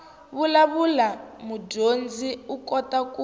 vulavula mudyondzi u kota ku